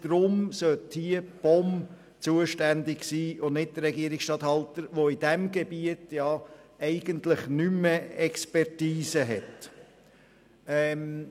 Deshalb sollte die POM zuständig sein und nicht der Regierungsstatthalter, der in diesem Gebiet eigentlich keine Expertise mehr hat.